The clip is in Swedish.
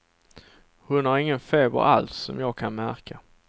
Hon har ingen feber alls, som jag kan märka.